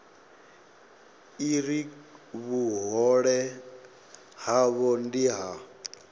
uri vhuhole havho ndi ha